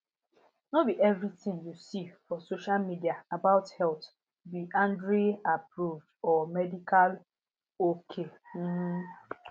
no be everything you see for social media about health be andreaapproved or medical or medical ok um